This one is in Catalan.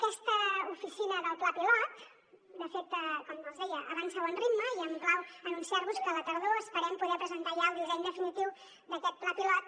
aquesta oficina del pla pilot de fet com els deia avança a bon ritme i em plau anunciar vos que a la tardor esperem poder presentar ja el disseny definitiu d’aquest pla pilot